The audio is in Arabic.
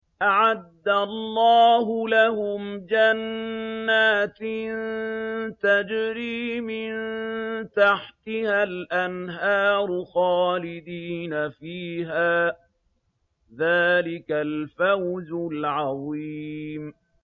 أَعَدَّ اللَّهُ لَهُمْ جَنَّاتٍ تَجْرِي مِن تَحْتِهَا الْأَنْهَارُ خَالِدِينَ فِيهَا ۚ ذَٰلِكَ الْفَوْزُ الْعَظِيمُ